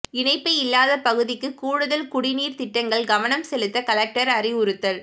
இணைப்பு இல்லாத பகுதிக்கு கூடுதல் குடிநீர் திட்டங்கள் கவனம் செலுத்த கலெக்டர் அறிவுறுத்தல்